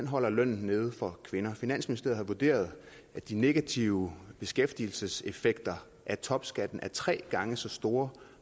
holder lønnen nede for kvinder finansministeriet har vurderet at de negative beskæftigelseseffekter af topskat er tre gange så store